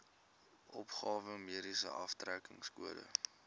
opgawe mediese aftrekkingskode